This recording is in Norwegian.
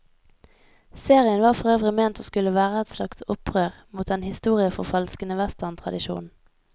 Serien var for øvrig ment å skulle være et slags opprør mot den historieforfalskende westerntradisjonen.